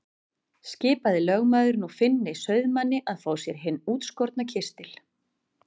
Skipaði lögmaður nú Finni sauðamanni að fá sér hinn útskorna kistil.